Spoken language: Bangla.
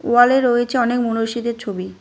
ওয়ালে রয়েছে অনেক মনীষীদের ছবি।